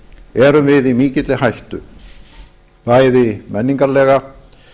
erum við í mikilli hættu bæði menningarlega